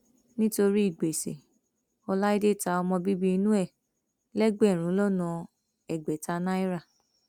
nítorí gbèsè ọláìdé ta ọmọbíbí inú ẹ lẹgbẹrún lọnà ẹgbẹta náírà